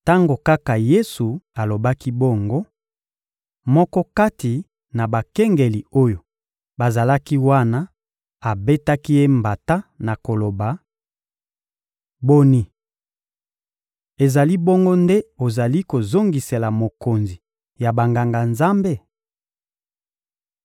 Tango kaka Yesu alobaki bongo, moko kati na bakengeli oyo bazalaki wana abetaki Ye mbata na koloba: — Boni! Ezali bongo nde ozali kozongisela mokonzi ya Banganga-Nzambe?